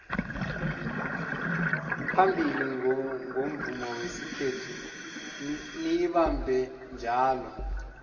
phambili ngomvumo wesikhethu niyibambeni njalo